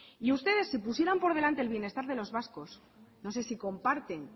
y ustedes si pusieran por delante el bienestar de los vascos no sé si comparten